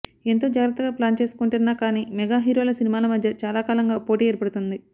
ఎంత జాగ్రత్తగా ప్లాన్ చేసుకుంటున్నా కానీ మెగా హీరోల సినిమాల మధ్య చాలా కాలంగా పోటీ ఏర్పడుతోంది